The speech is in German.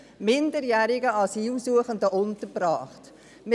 – minderjährigen Asylsuchenden untergebracht werden.